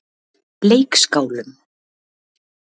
Leikskálum